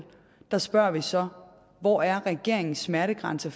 spørger vi så hvor er regeringens smertegrænse